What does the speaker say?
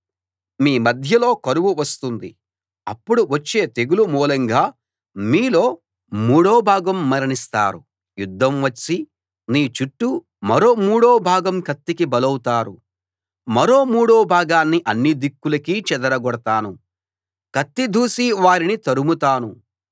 మీ మధ్యలో కరువు వస్తుంది అప్పుడు వచ్చే తెగులు మూలంగా మీలో మూడో భాగం మరణిస్తారు యుద్ధం వచ్చి నీ చుట్టూ మరో మూడో భాగం కత్తికి బలౌతారు మరో మూడో భాగాన్ని అన్ని దిక్కులకీ చెదరగొడతాను కత్తి దూసి వారిని తరముతాను